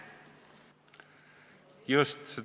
Just.